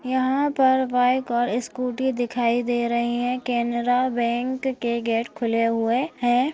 यहाँ पर बाइक और स्कूटी दिखाई दे रही हैं केनरा बैंक के गेट खुले हुए हैं।